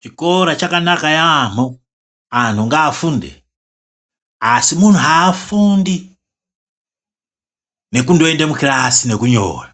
Chikora chakanaka yaampho anthu ngaafunde. Asi munthu aafundi nekundoenda mukirasi nokunyora.